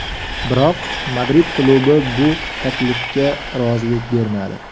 Biroq Madrid klubi bu taklifga rozilik bermadi.